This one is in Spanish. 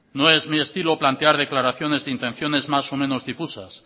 no es mi estilo plantear declaraciones de intenciones más o menos difusas